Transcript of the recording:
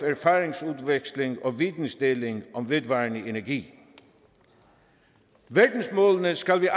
erfaringsudveksling og vidensdeling om vedvarende energi verdensmålene skal vi